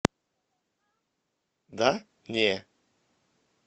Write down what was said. да не